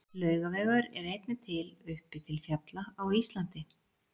Laugavegur er einnig til uppi til fjalla á Íslandi.